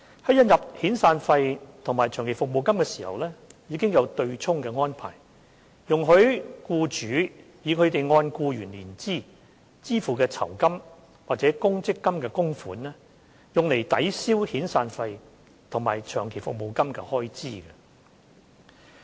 在引入遣散費及長期服務金時，已有對沖安排，容許僱主以他們按僱員年資支付的酬金或公積金供款，用作抵銷遣散費和長期服務金的開支。